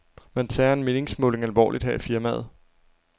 Man tager en meningsmåling alvorligt her i firmaet.